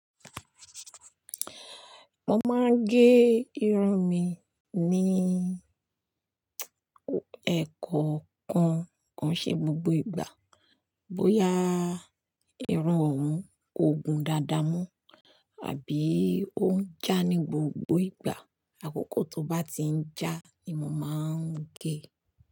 Mo máa ń gé irun mi ní ẹ̀ọ̀kọọkan koun ṣe gbogbo ìgbà. Bóyá irun òhun kò gùn dáadáa mọn àbí ó ń jà ní gbogbo ìgbà. Àkókò tó bá ti ń jà ni mo máa ń gé.